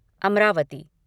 Amravati